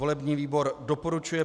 Volební výbor doporučuje